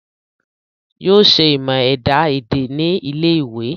Yóò ṣe ìmọ̀ ẹ̀dá èdè ní ilé ìwé